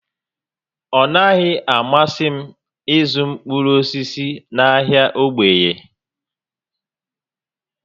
Ọ naghị amasị m ịzụ mkpụrụ osisi n'ahịa Ogboye